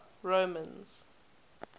romans